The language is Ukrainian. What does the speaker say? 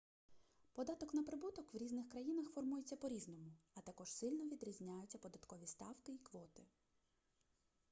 податок на прибуток в різних країнах формується по різному а також сильно відрізняються податкові ставки і квоти